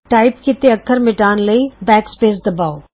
type ਕੀਤੇ ਅੱਖਰ ਮਿਟਾਉਣ ਲਈ ਬੈਕ ਸਪੈਸ ਬਟਨ ਦਬਾਉ